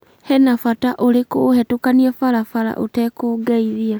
he na bata ũrĩkũ ũhetũkanie barabara ũtekũngeithia.